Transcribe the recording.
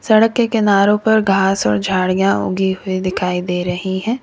सड़क के किनारो पर घास और झाड़ियां ऊगी हुई दिखाई दे रही है।